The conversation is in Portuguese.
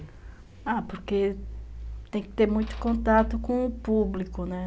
Ah, porque tem que ter muito contato com o público, né?